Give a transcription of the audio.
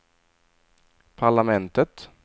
parlamentet